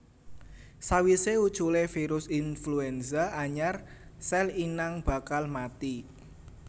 Sawisé uculé virus influenza anyar sèl inang bakal mati